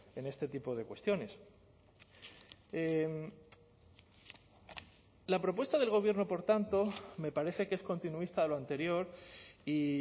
en este tipo de cuestiones la propuesta del gobierno por tanto me parece que es continuista a lo anterior y